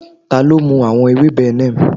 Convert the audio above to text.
ti o mu awọn Neem ewebe